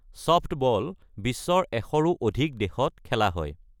Softball বিশ্বৰ এশৰো অধিক দেশত খেলা হয়।